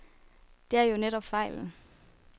Det er jo netop fejlen.